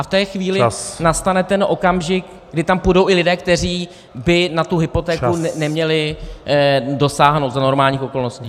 A v té chvíli nastane ten okamžik, kdy tam půjdou i lidé, kteří by na tu hypotéku neměli dosáhnout za normálních okolností.